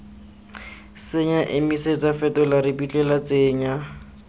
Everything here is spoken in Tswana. senya emisetsa fetola ripitla tsenya